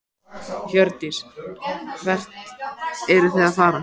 Hjördís: Hvert eruð þið að fara?